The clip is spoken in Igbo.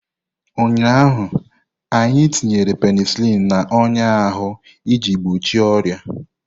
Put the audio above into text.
Ụnyaahụ, anyị tinyere penisilini n'ọnya ahụ iji gbochie ọrịa.